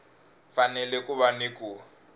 fanele ku va ni ku